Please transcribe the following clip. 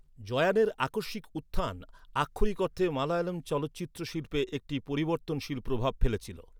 জয়ানের আকস্মিক উত্থান আক্ষরিক অর্থে মালয়ালম চলচ্চিত্র শিল্পে একটি পরিবর্তনশীল প্রভাব ফেলেছিল।